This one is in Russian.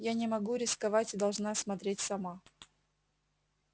я не могу рисковать должна смотреть сама